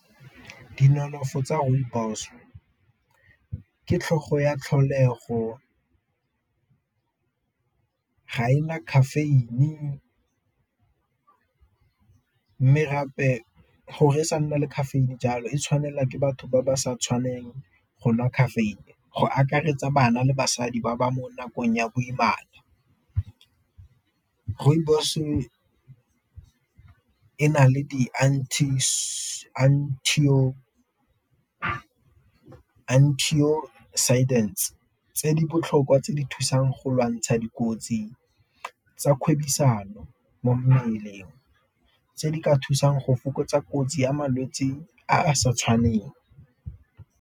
tsa rooibos, ke tlhogo ya tlholego ga ena caffeine, mme gape gore e sa nna le caffeine jalo e tshwanelwa ke batho ba ba sa tshwaneng go nwa caffeine go akaretsa bana le basadi ba ba mo nakong ya boimana. Rooibos-e e na le di tse di botlhokwa tse di thusang go lwantsha dikotsi tsa kgwebisano mo mmeleng, tse di ka thusang go fokotsa kotsi ya malwetsi a a sa tshwaneng.